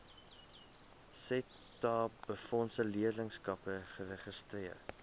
setabefondse leerlingskappe geregistreer